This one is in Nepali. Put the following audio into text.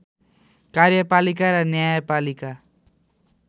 कार्यपालिका र न्यायपालिका